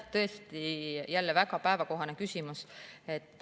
Tõesti, jälle väga päevakohane küsimus.